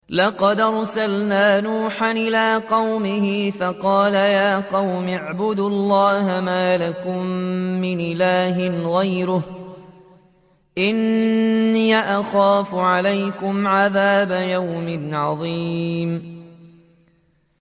لَقَدْ أَرْسَلْنَا نُوحًا إِلَىٰ قَوْمِهِ فَقَالَ يَا قَوْمِ اعْبُدُوا اللَّهَ مَا لَكُم مِّنْ إِلَٰهٍ غَيْرُهُ إِنِّي أَخَافُ عَلَيْكُمْ عَذَابَ يَوْمٍ عَظِيمٍ